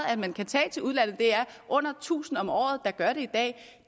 at man kan tage til udlandet det er under tusind om året der gør det i dag